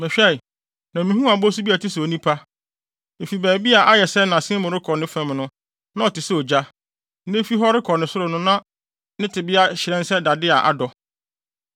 Mehwɛe, na mihuu abɔsu bi a ɛte sɛ onipa. Efi baabi a ayɛ sɛ nʼasen mu rekɔ ne fam no, na ɔte sɛ ogya, na efi hɔ rekɔ ne soro no na ne tebea hyerɛn sɛ dade a adɔ.